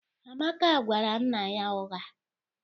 Amaka gwara nna ya ụgha